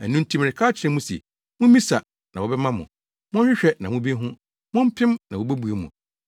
“Ɛno nti mereka akyerɛ mo se; Mummisa, na wɔbɛma mo; monhwehwɛ na mubehu; mompem na wobebue mo.